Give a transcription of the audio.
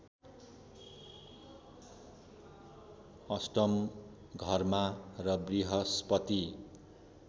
अष्टम घरमा र वृहस्पति